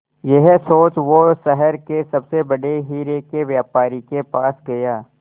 यह सोच वो शहर के सबसे बड़े हीरे के व्यापारी के पास गया